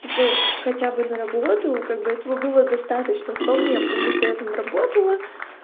типа хотя бы на работу как бы этого было достаточно вполне потому что я там работала